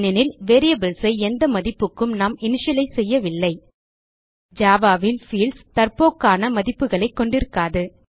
ஏனெனில் வேரியபிள்ஸ் ஐ எந்த மதிப்புக்கும் நாம் இனிஷியலைஸ் செய்யவில்லை ஜாவா ல் பீல்ட்ஸ் தற்போக்கான மதிப்புகளை கொண்டிருக்காது